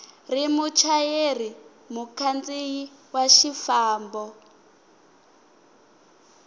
ri muchayeri mukhandziyi wa xifambo